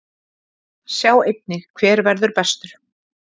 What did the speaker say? Sjá einnig: Hver verður bestur?